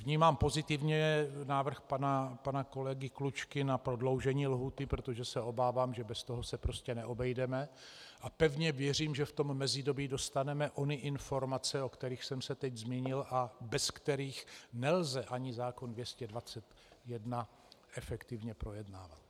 Vnímám pozitivně návrh pana kolegy Klučky na prodloužení lhůty, protože se obávám, že bez toho se prostě neobejdeme, a pevně věřím, že v tom mezidobí dostaneme ony informace, o kterých jsem se teď zmínil a bez kterých nelze ani zákon 221 efektivně projednávat.